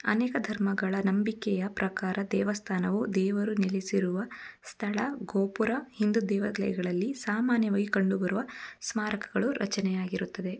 ಅನೇಕ ಧರ್ಮಗಳ ನಂಬಿಕೆಯ ಪ್ರಕಾರ ದೇವಸ್ಥಾನವು ದೇವರು ನೆಲೆಸಿರುವ ಸ್ಥಳ ಗೋಪುರ ಹಿಂದೂ ದೇವತೆಯಗಳಲ್ಲಿ ಸಾಮಾನ್ಯವಾಗಿ ಕಂಡುಬರುವ ಸ್ಮಾರಕಗಳು ರಚನೆಯಾಗಿರುತ್ತದೆ.